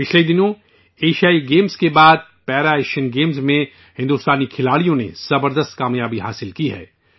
پچھلے دنوں ایشیائی گیمز میں بھی ہندوستانی کھلاڑیوں نے زبردست کامیابی حاصل کی ہے